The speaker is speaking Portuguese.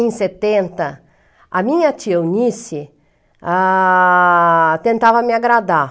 Em setenta, a minha tia Eunice, ah... tentava me agradar.